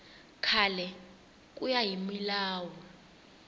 kahle ku ya hi milawu